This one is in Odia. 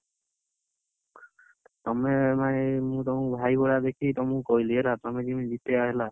ତମେ ମାନେ ମୁଁ ତମକୁ ଭାଇ ଭଳିଆ ଦେଖିକି ତମକୁ କହିଲି ହେଲା ତମେ ଯେମିତି, ଜିତେଇବ ହେଲା।